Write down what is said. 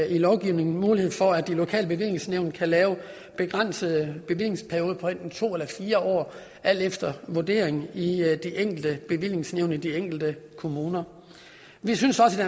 i lovgivningen mulighed for at de lokale bevillingsnævn kan lave en begrænset bevillingsperiode på enten to eller fire år alt efter vurdering i de enkelte bevillingsnævn i de enkelte kommuner vi synes også i